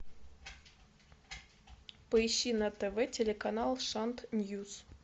поищи на тв телеканал шант ньюс